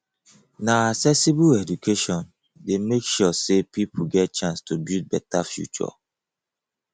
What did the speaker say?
na accessible eduation dey make sure sey pipo get chance to build beta future